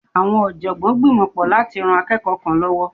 Awọn ọ̀jọ̀gbọ́n gbìmọ pọ látí rán akẹ́kọ̀ọ́ kan lọ́wọ́.